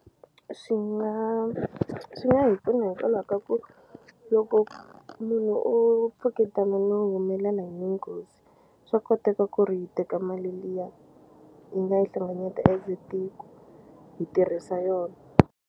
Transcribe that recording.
Swi nga swi nga hi pfuna hikwalaho ka ku loko munhu o tshuketana no humelela hi nghozi swa koteka ku ri hi teka mali liya hi nga yi hlengeleta as tiko hi tirhisa yona.